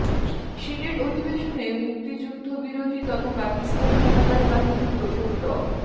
senate অধিবেশনে মুক্তিযুদ্ধবিরোধী তথা পাকিস্তান হানাদার বাহিনীর দোসর ড